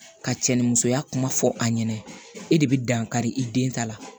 Ka cɛnni musoya kuma fɔ a ɲɛna e de bɛ dankari i den ta la